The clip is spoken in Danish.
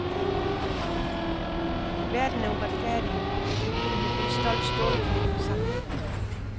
Verden er uretfærdig, men jeg bed stolt stålkæben sammen.